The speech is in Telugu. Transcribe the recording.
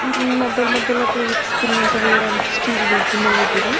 హ్మ్మ్ మధ్య ల మధ్యలో ప్లేట్స్ తిన్నాక వేయడానికి స్టీల్ గిన్నెలు పెట్టిండ్రు --